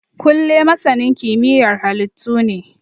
Kunle masanin kimiyyar halittu ne